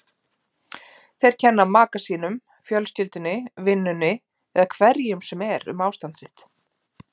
Þeir kenna maka sínum, fjölskyldunni, vinnunni eða hverju sem er um ástand sitt.